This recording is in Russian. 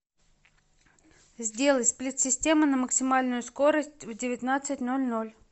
сделай сплит система на максимальную скорость в девятнадцать ноль ноль